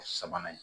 Sabanan